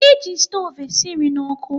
E ji stoovu e si nri n'ọkụ